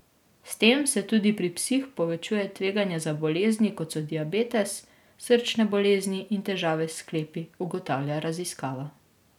S tem se tudi pri psih povečuje tveganje za bolezni, kot so diabetes, srčne bolezni in težave s sklepi, ugotavlja raziskava.